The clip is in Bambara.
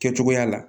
Kɛ cogoya la